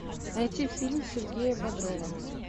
найти фильм сергея бодрова